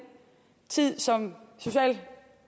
tid som